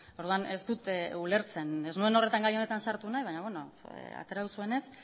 orduan ez dut ulertzen ez nuen gai honetan sartu nahi baina atera duzuenez